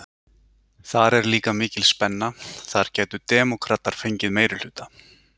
Þar er líka mikil spenna, þar gætu demókratar fengið meirihluta?